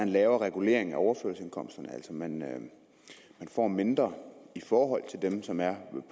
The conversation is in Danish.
lavere regulering af overførselsindkomsterne altså at man får mindre i forhold til dem som er